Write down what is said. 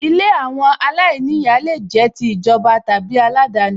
Ilé àwọn aláìníyàá lè jẹ́ ti ìjọba tàbí aládani